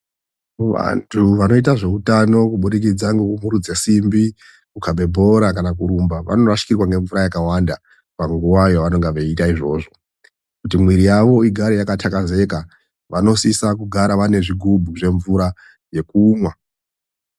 Vantu vanoite zveutano kubudikidza ngekukurudze simbi, kukabe bhora, kana kurumba ,vanorasikirwa ngemvura yakawanda panguva yavanenge vachita izvozvo. Kuti mwiri yavo igare yakatakezeka vanosisa kugara vaine zvigubhu zvemvura yekumva.